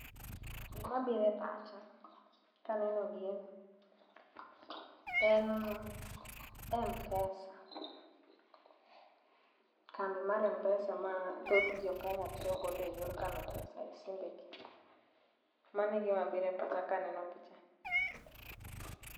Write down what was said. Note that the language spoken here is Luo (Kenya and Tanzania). Gima biro e pacha kaneno gini en m-pesa. Kambi mar m-pesa ma thoth jo Kenya tiyo go eyor kano pesa esimbegi. Mano e gima biro e pacha kaneno pichani.